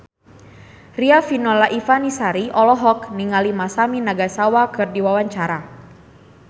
Riafinola Ifani Sari olohok ningali Masami Nagasawa keur diwawancara